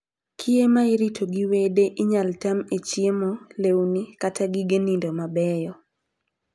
Kiye ma irito gi wede inyal tam e chiemo, lewni, kata gige nindo mabeyo.